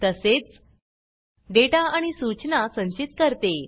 तसेच डेटा आणि सूचना संचित करते